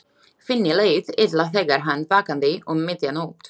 Finni leið illa þegar hann vaknaði um miðja nótt.